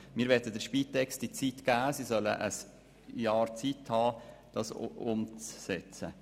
Wir möchten der Spitex ein Jahr lang Zeit geben für die Umsetzung.